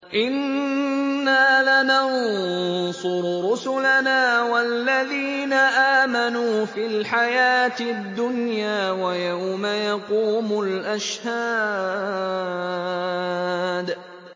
إِنَّا لَنَنصُرُ رُسُلَنَا وَالَّذِينَ آمَنُوا فِي الْحَيَاةِ الدُّنْيَا وَيَوْمَ يَقُومُ الْأَشْهَادُ